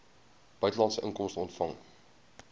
buitelandse inkomste ontvang